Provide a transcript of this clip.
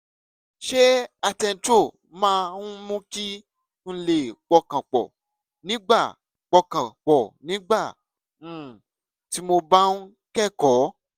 ṣé attentrol máa ń mú kí n lè pọkàn pọ̀ nígbà pọkàn pọ̀ nígbà um tí mo bá ń kẹ́kọ̀ọ́?